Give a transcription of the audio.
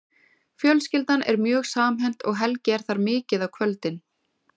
Fjölskyldan er mjög samhent og Helgi er þar mikið á kvöldin.